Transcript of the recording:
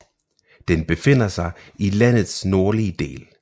Den befinder sig i landets nordlige del